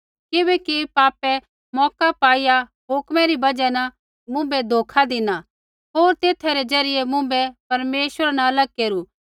किबैकि पापै मौका पाईआ हुक्म री बजहा न मुँभै धोखा धिना होर तेथा रै ज़रियै मुँभै परमेश्वरा न अलग केरू